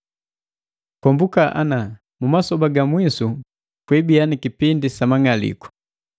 Kombuka ana, mu masoba ga mwisu kwiibiya ni kipindi sa mang'aliku.